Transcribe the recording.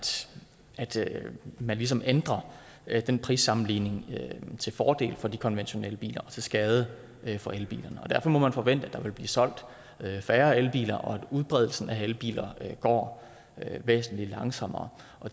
man ligesom ændrer den prissammenligning til fordel for de konventionelle biler og til skade for elbilerne og derfor må man forvente at der vil blive solgt færre elbiler og at udbredelsen af elbiler går væsentlig langsommere